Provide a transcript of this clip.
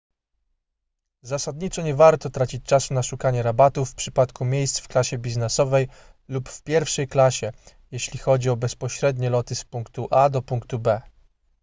zasadniczo nie warto tracić czasu na szukanie rabatów w przypadku miejsc w klasie biznesowej lub w pierwszej klasie jeśli chodzi o bezpośrednie loty z punktu a do punktu b